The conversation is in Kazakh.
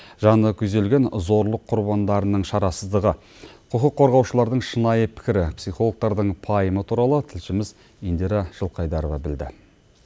жаны күйзелген зорлық құрбандарының шарасыздығы құқық қорғаушылардың шынайы пікірі психологтардың пайымы туралы тілшіміз индира жылқайдарова білді